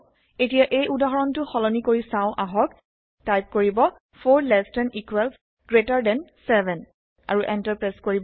এতিয়া এই উদাহৰণটো সলনি কৰি চাও আহক টাইপ কৰিব 4 less than equals greater than 7 আৰু এন্টাৰ প্ৰেছ কৰিব